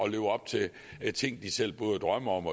at leve op til ting de selv drømmer om